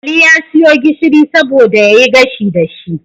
Ali ya siyo gishiri saboda yayi gashi dashi